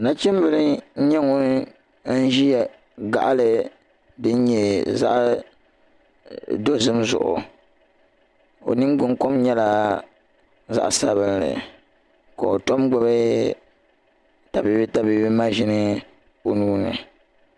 Nachimbila n-nyɛ ŋun n-ʒiya gaɣili din nyɛ zaɣ' dozim zuɣu o ningbuŋ' kom nyɛla zaɣ' sabinli ka o tɔ n-gbubi tabibi tabibi maʒini o nuu ni.